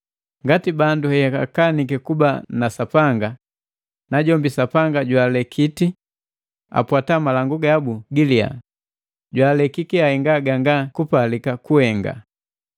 Ngati bandu heakaniki kuba na Sapanga, najombi Sapanga jwaalekiti apwata malangu gabu giliya, jwaalekiki aheenga ganga kupalika kuhenga.